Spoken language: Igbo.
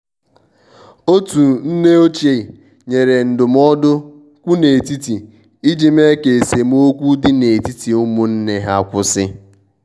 otu nne ochie nyere ndụmọdụ kwụ n' etiti iji mee ka esemokwi dị n'etiti ụmụnne ha kwụsị.